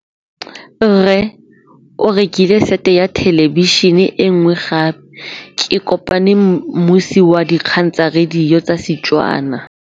Rre o rekile sete ya thêlêbišênê e nngwe gape. Ke kopane mmuisi w dikgang tsa radio tsa Setswana.